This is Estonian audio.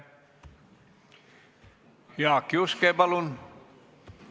Jaak Juske, palun!